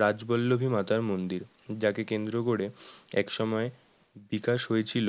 রাজবল্লভী মাতার মন্দির, যাকে কেন্দ্র করে একসময় বিকাশ হয়েছিল